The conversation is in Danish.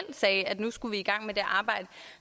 at nu skulle vi i gang med det arbejde